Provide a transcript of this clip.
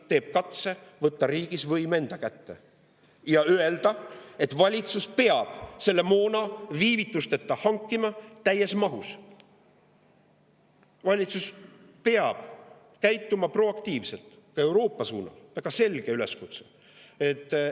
– teeb katse võtta riigis võim enda kätte ja ütleb, et valitsus p e a b selle moona viivitusteta täies mahus hankima, valitsus p e a b proaktiivselt ka Euroopa suunal – väga selge üleskutse!